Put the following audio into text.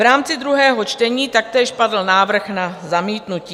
V rámci druhého čtení taktéž padl návrh na zamítnutí.